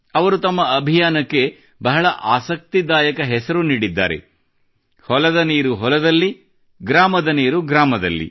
ಅವರು ತಮ್ಮ ಅಭಿಯಾನಕ್ಕೆ ಬಹಳ ಆಸಕ್ತಿದಾಯಕ ಹೆಸರು ನೀಡಿದ್ದಾರೆ ಹೊಲದ ನೀರು ಹೊಲದಲ್ಲಿ ಗ್ರಾಮದ ನೀರು ಗ್ರಾಮದಲ್ಲಿ